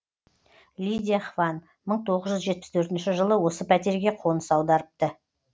лидия хван мың тоғыз жүз жетпіс төртінші жылы осы пәтерге қоныс аударыпты